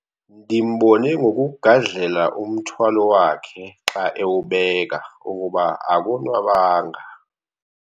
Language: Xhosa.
Ndimbone ngokugadlela umthwalo wakhe xa ewubeka ukuba akonwabanga.